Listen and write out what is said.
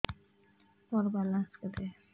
ମୋର ବାଲାନ୍ସ କେତେ